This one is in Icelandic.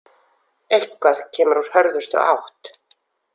Eitthvað kemur úr hörðustu átt